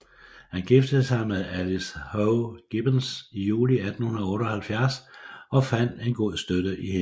Han giftede sig med Alice Howe Gibbens i juli 1878 og fandt en god støtte i hende